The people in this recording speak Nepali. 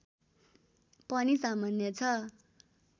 पनि सामान्य छ